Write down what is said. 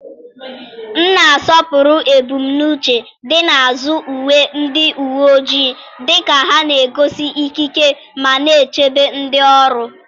m na-asọpụrụ ebumnuche dị n'azụ uwe ndị uwe ojii, dịka ha na-egosi ikike ma na-echebe ndị ọrụ.